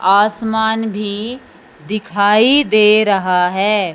आसमान भी दिखाई दे रहा है।